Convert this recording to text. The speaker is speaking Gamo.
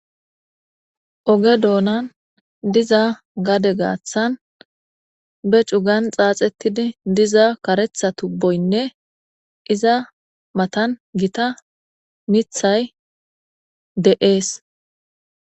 Oge donan diza gade gatsan becugan tsatsetidi diza karetsa tubboyne iza matan gita mittayi de'es.